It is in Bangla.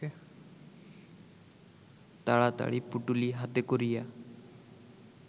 তাড়াতাড়ি পুঁটুলি হাতে করিয়া